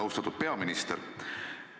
Austatud peaminister!